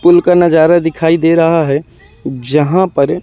पुल का नजारा दिखाई दे रहा है जहां पर--